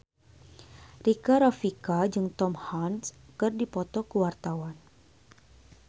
Rika Rafika jeung Tom Hanks keur dipoto ku wartawan